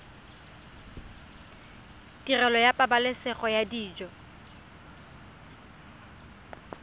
tirelo ya pabalesego ya dijo